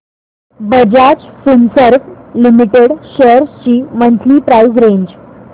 Bajaj Finserv limited shares ची monthly price range